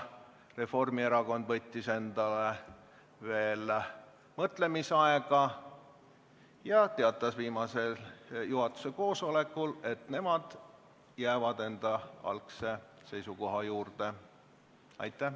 Reformierakond võttis endale veel mõtlemisaega ja viimasel juhatuse koosolekul saime teada, et nad jäävad enda algse seisukoha juurde.